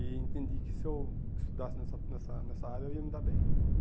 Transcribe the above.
E entendi que, se eu estudasse nessa nessa nessa área, eu ia me dar bem.